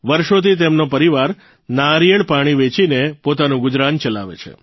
વર્ષોથી તેમનો પરિવાર નાળિયેર પાણી વેચીનો પોતાનું ગુજરાન ચલાવે છે